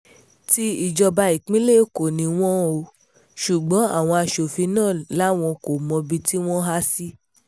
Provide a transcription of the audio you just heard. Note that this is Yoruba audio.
ti ìjọba ìpínlẹ̀ èkó ni wọn ò ṣùgbọ́n àwọn aṣòfin náà làwọn kò mọbìtì wọn há sí